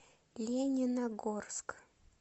лениногорск